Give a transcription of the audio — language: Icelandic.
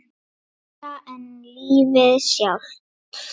Meira en lífið sjálft.